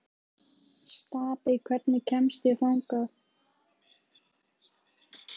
Stapi, hvernig kemst ég þangað?